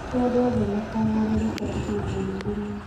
Ti andũ othe makaagarũrũka ihinda-inĩ rĩmwe.